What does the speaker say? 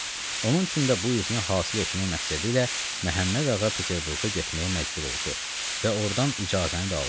Onun üçün də bu izini hasil etmək məqsədi ilə Məhəmmədağa Peterburqa getməyə məcbur oldu və ordan icazəni də aldı.